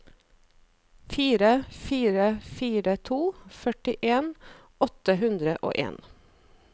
fire fire fire to førtien åtte hundre og en